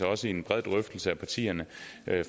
også i en bred drøftelse mellem partierne